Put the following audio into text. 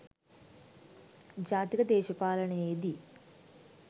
ජාතික දේශපාලනයේ දී